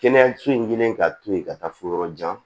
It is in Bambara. Kɛnɛyaso in kɛlen ka to yen ka taa fo yɔrɔ jan